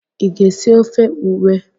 Ị ga-esi ofe ewe?